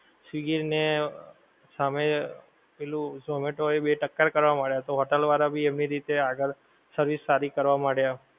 swiggy ને સામે પહેલું zomato એ ટક્કર કરવા મળ્યા તો hotel વાળા ભી એમની રીતે આગળ service સારી કરવા માળિયાં